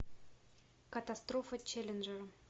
катастрофа челленджера